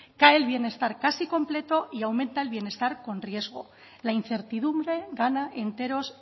cae el bienestar casi completo y aumenta el bienestar con riesgo la incertidumbre gana enteros